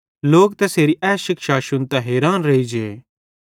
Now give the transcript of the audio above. लोक तैसेरी ए शिक्षा शुन्तां हैरान रेइजे